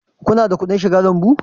Ku na da kuɗin shiga lambu?